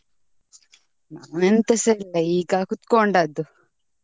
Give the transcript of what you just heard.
ನಾನು ಎಂತಸ ಇಲ್ಲ ಈಗ ಕೂತ್ಕೊಂಡದ್ದು.